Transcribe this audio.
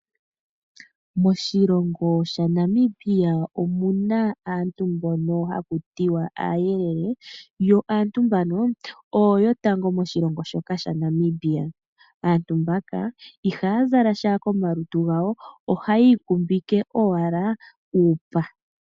Moshilongo sha Namibia omuna aantu mbono haku tiwa aayelele. Yo aantu mbano oyo yotango moshilongo shoka sha Namibia. Aantu mbaka ihaya zala sha koma lutu gawo, ohayi ikumbike owala uupa.